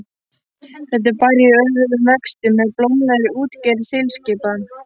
Þetta er bær í örum vexti með blómlegri útgerð þilskipa.